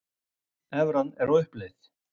Evran á uppleið